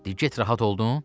De get, rahat oldun?